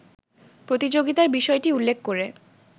প্রতিযোগিতার বিষয়টি উল্লেখ করে